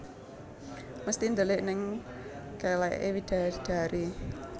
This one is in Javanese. Mesti ndelik neng keleke widadari